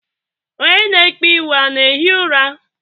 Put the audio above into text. Onye na ekpeiwu a na-ehi ụra?